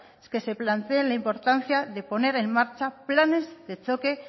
que se plantee la importancia de poner en marcha planes de choque